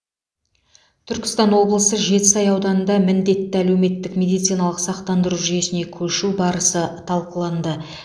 түркістан облысы жетісай ауданында міндетті әлеуметтік медициналық сақтандыру жүйесіне көшу барысы талқыланды